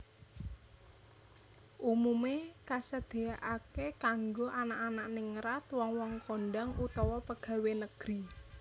Umumé kasedyakaké kanggo anak anak ningrat wong wong kondhang utawa pegawé negri